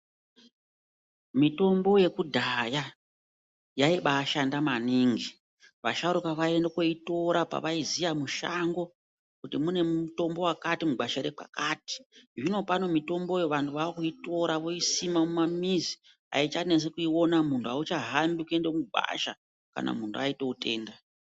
Mitombo yekudhaya yaibashanda maningi. Vasharukwa vaienda koitora pavaiziya mushango kuti mune mutombo wakati mugwasha rekwakati. Zvino pano mitomboyo vantu vakuitora voisima mumamizi. Aichanesi kuiona munhu auchahambi kuenda mugwasha kana muntu aite utenda.